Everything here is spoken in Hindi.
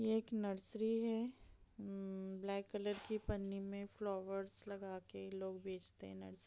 एक नर्सरी है उम्म ब्लैक कलर की पन्नी में फ्लावर्स लगा के लोग बेचते है नर्स --